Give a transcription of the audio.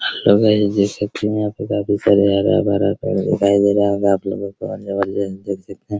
Hello guys देख सकते हैं यहां पे काफी सारे हरा-भरा पेड़ दिखाई दे रहा होगा आपलोगों जबरदस्त देख सकते हैं।